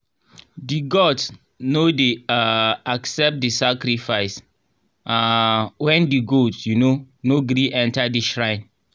di gods no dey um accept di sacrifice um when di goat um no gree enter di shrine.